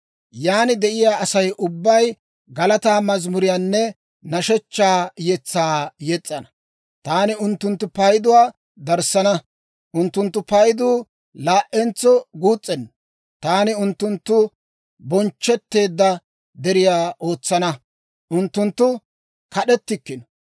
Yaan de'iyaa Asay ubbay galataa mazimuriyaanne nashshechchaa yetsaa yes's'ana. Taani unttunttu payduwaa darissana; unttunttu payduu laa"entso guus's'enna. Taani unttunttu bonchchetteedda deriyaa ootsana; unttunttu kad'etikkino.